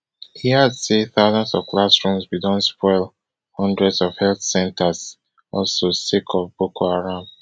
e add say thousands of classrooms bin don spoil hundreds of health centres also sake of boko haram